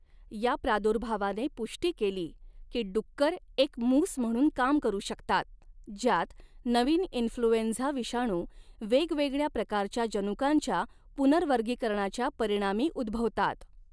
या प्रादुर्भावाने पुष्टी केली की डुक्कर एक मूस म्हणून काम करू शकतात, ज्यात नवीन इन्फ्लूएंझा विषाणू वेगवेगळ्या प्रकारच्या जनुकांच्या पुनर्वर्गीकरणाच्या परिणामी उद्भवतात.